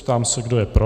Ptám se, kdo je pro.